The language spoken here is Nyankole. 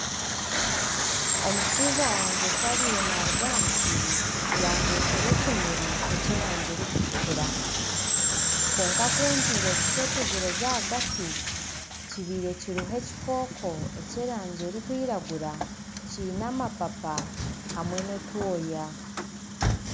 Omushaija wangye ku abiire naaruga aha musiri yandetera ekimuri eky'erangi erikutukura. Kwonka kungiire kukyetegyereza ahagati, kibiire kirimu ekikooko eky'erangi erikwiragura kiine amapapa hamwe n'otwoya.